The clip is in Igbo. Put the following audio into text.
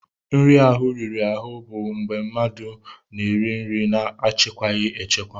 Nri ahụ riri ahụ bụ mgbe mmadụ na-eri nri na-achịkwaghị achịkwa.